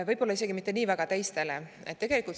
Võib-olla isegi mitte nii väga teistele asjadele.